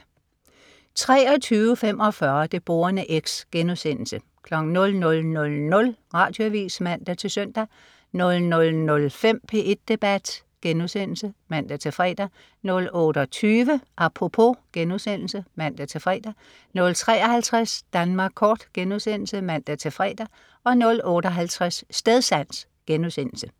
23.45 Det Borende X* 00.00 Radioavis (man-søn) 00.05 P1 Debat* (man-fre) 00.28 Apropos* (man-fre) 00.53 Danmark kort* (man-fre) 00.58 Stedsans*